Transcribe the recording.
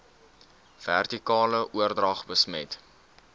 vertikale oordrag besmet